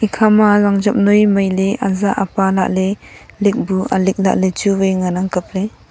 ekhama rang job noi maile aja apa lahley likbu alik lahley chuwai ngan ang kapley.